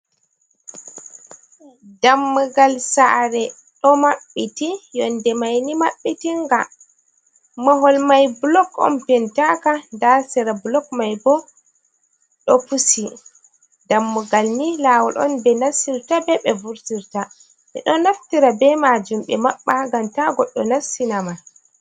Dan mugal sare, ɗo maɓɓiti, yonde maini mabbitinga mahol mai blok on pentaka, hasira blok mai bo ɗo pusi, dammugal ni lawol on ɓe nassirta be ɓe vurtirta, men ɗon naftira be majum, be mabba gam ta goɗɗo nassinama.